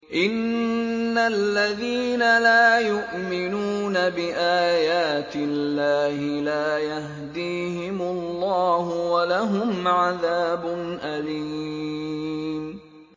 إِنَّ الَّذِينَ لَا يُؤْمِنُونَ بِآيَاتِ اللَّهِ لَا يَهْدِيهِمُ اللَّهُ وَلَهُمْ عَذَابٌ أَلِيمٌ